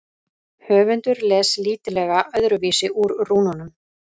Höfundur les lítillega öðruvísi úr rúnunum.